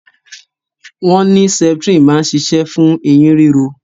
Wọn ní septrin máa ń ṣiṣẹ́ fún eyín ríro